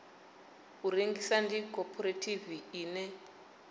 u rengisa ndi khophorethivi ine